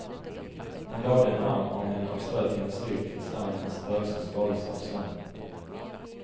Han lade en arm om henne och strök hennes rygg tills armens rörelser svaldes av sömnen.